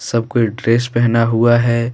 सब कोई ड्रेस पहना हुआ है।